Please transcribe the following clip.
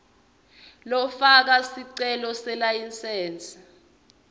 lofaka sicelo selayisensi